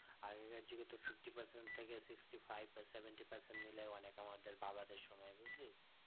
আগেকার যুগে তো fifty percent থেকে sixty five বা seventy percent নিলেই অনেক আমাদের বাবাদের সময়ে বুজলি